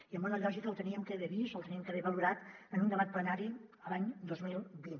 i en bona lògica l’hauríem d’haver vist l’hauríem d’haver valorat en un debat plenari l’any dos mil vint